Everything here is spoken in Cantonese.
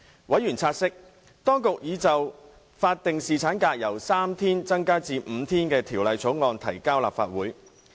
委員察悉，當局已就法定侍產假由3天增至5天的法案提交立法會。